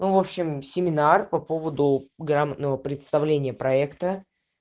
в общем семинар по поводу грамотного представления проекта